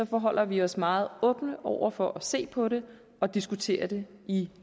forholder vi os meget åbne over for at se på det og diskutere det i